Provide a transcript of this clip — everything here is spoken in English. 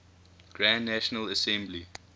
grand national assembly